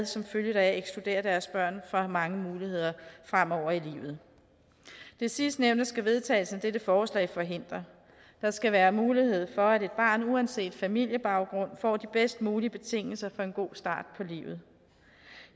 som følge deraf ekskludere deres børn fra mange muligheder fremover i livet det sidstnævnte skal vedtagelsen af dette forslag forhindre der skal være mulighed for at et barn uanset familiebaggrund får de bedst mulige betingelser for en god start på livet